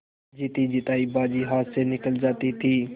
जीतीजितायी बाजी हाथ से निकली जाती थी